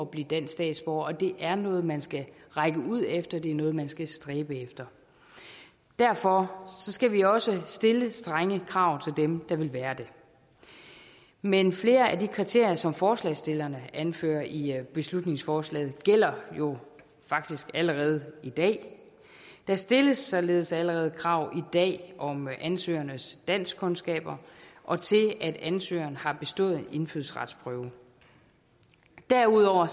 blive dansk statsborger og at det er noget man skal række ud efter det er noget man skal stræbe efter derfor skal vi også stille strenge krav til dem der vil være det men flere af de kriterier som forslagsstillerne anfører i beslutningsforslaget gælder jo faktisk allerede i dag der stilles således allerede krav i dag om ansøgerens danskkundskaber og til at ansøgeren har bestået en indfødsretsprøve derudover